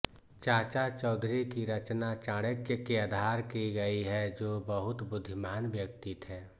चाचा चौधरी की रचना चाणक्य के आधार की गयी है जो बहुत बुद्धिमान व्यक्ति थे